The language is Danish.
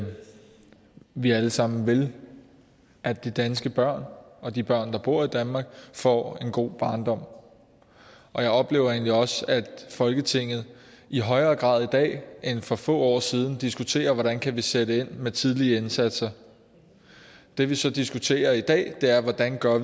at vi alle sammen vil at de danske børn og de børn der bor i danmark får en god barndom og jeg oplever egentlig også at folketinget i højere grad i dag end for få år siden diskuterer hvordan vi kan sætte ind med tidlige indsatser det vi så diskuterer i dag er hvordan vi gør